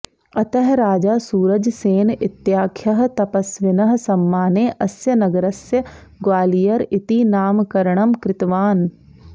अतः राजा सूरज सेन इत्याख्यः तपस्विनः सम्माने अस्य नगरस्य ग्वालियर इति नामकरणं कृतवान्